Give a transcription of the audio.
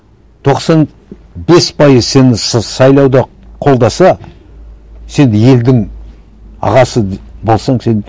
тоқсан бес пайыз сені сайлауда қолдаса сен елдің ағасы болсаң сен